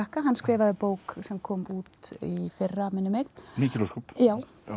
hann skrifaði bók sem kom út í fyrra minnir mig mikil ósköp já